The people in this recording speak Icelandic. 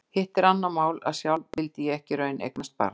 Hitt er annað mál að sjálf vildi ég ekki í raun eignast barn.